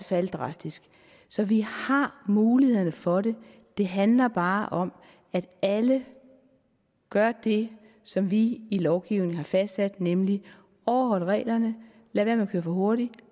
falde drastisk så vi har mulighederne for det det handler bare om at alle gør det som vi i lovgivningen har fastsat nemlig overholder reglerne lader være med for hurtigt